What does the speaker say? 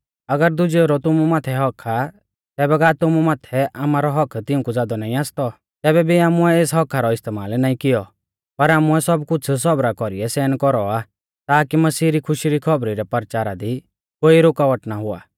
अगर दुजेऊ रौ तुमु माथै हक्क आ तैबै का तुमु माथै आमारौ हक्क तिउंकु ज़ादौ नाईं आसतौ तैबै भी आमुऐ एस हक्‍का रौ इस्तेमाल नाईं कियौ पर आमुऐ सब कुछ़ सौबरा कौरीऐ सहन कौरौ आ ताकी मसीह री खुशी री खौबरी रै परचारा दी कोई रुकावट ना हुआ